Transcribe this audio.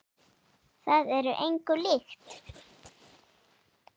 Það er engu líkt.